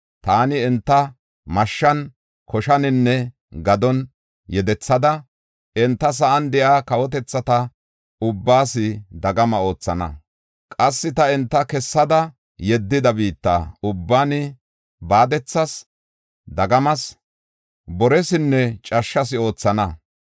Taani enta mashshan, koshaninne gadon yedethada, enta sa7an de7iya kawotetha ubbaas dagama oothana. Qassi ta enta kessada yeddida biitta ubban baadethas, dagamas, boresinne cashshas oothana.